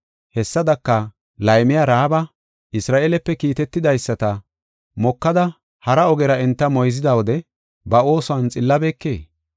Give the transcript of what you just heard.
Hessadaka, laymiya Ra7aaba Isra7eelepe kiitetidaysata mokada hara ogera enta moyzida wode ba oosuwan xillabeekee?